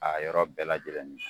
A yɔrɔ bɛɛ lajɛlen nin